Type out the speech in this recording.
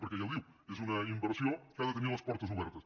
perquè ja ho diu és una inversió que ha de tenir les portes obertes